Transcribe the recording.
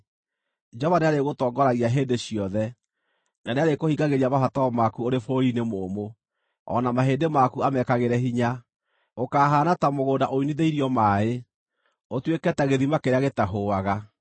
Jehova nĩarĩgũtoongoragia hĩndĩ ciothe, na nĩarĩkũhingagĩria mabataro maku ũrĩ bũrũri-inĩ mũũmũ, o na mahĩndĩ maku amekagĩre hinya. Ũkahaana ta mũgũnda unithĩirio maaĩ, ũtuĩke ta gĩthima kĩrĩa gĩtahũaga.